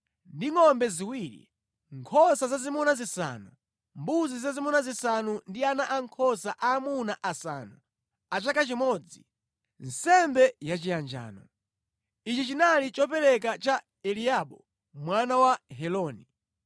ndi ngʼombe ziwiri, nkhosa zazimuna zisanu, mbuzi zazimuna zisanu ndi ana ankhosa aamuna asanu a chaka chimodzi, nsembe yachiyanjano. Ichi chinali chopereka cha Eliabu mwana wa Heloni.